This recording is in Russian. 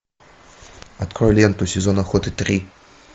открой ленту сезон охоты три